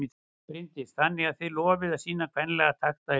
Bryndís: Þannig að þið lofið að sýna kvenlega takta í hlaupinu?